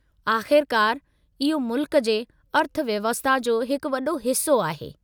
आख़िरकार, इहो मुल्कु जे अर्थव्यवस्था जो हिकु वॾो हिस्सो आहे।